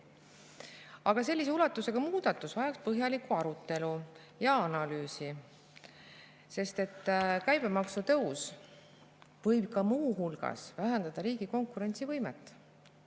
Aga sellise ulatusega muudatus vajaks põhjalikku arutelu ja analüüsi, sest käibemaksu tõus võib ka muu hulgas vähendada riigi konkurentsivõimet.